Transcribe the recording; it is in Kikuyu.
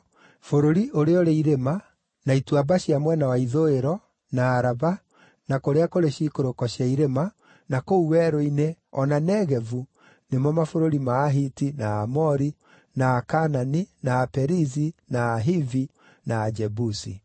bũrũri ũrĩa ũrĩ irĩma, na ituamba cia mwena wa ithũĩro, na Araba, na kũrĩa kũrĩ ciikũrũko cia irĩma, na kũu werũ-inĩ, o na Negevu, nĩ mo mabũrũri ma Ahiti, na Aamori, na Akaanani, na Aperizi, na Ahivi, na Ajebusi):